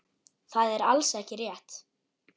Það er alls ekki rétt.